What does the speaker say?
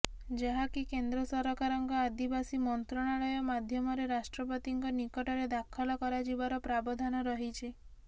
ଯାହାକି କେନ୍ଦ୍ର ସରକାରଙ୍କ ଆଦିବାସୀ ମନ୍ତ୍ରଣାଳୟ ମାଧ୍ୟମରେ ରାଷ୍ଟ୍ରପତିଙ୍କ ନିକଟରେ ଦାଖଲ କରାଯିବାର ପ୍ରାବଧାନ ରହିଛି